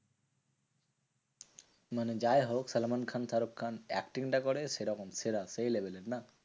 মানে যাইহোক সালমান খান শাহরুখ খান acting টা করে সেরকম সেরা সেই level এর না?